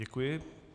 Děkuji.